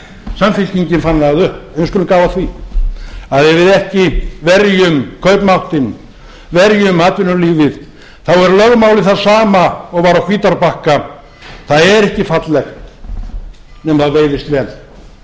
samfylkingin fann það upp en við skulum gá að því að ef við ekki verjum kaupmáttinn verjum atvinnulífið er lögmálið það sama og var á hvítárbakka það er ekki fallegt nema það veiðist vel